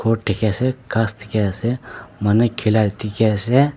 gour dekhi ase gass dekhi ase manu khela dekhi ase.